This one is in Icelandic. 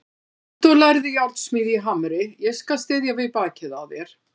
Komdu og lærðu járnsmíði í Hamri, ég skal styðja við bakið á þér.